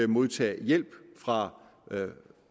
modtage hjælp fra